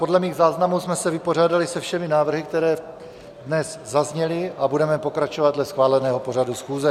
Podle mých záznamů jsme se vypořádali se všemi návrhy, které dnes zazněly, a budeme pokračovat dle schváleného pořadu schůze.